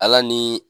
Ala ni